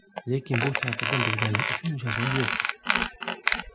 Lekin bu tartibni buzganlik uchun jazo yo‘q.